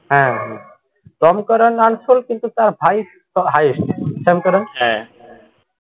, হ্যা হ্যা tom curran unsold কিন্তু তার ভাই highest sam curran, হ্যা,